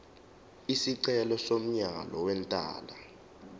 isicelo somyalo wentela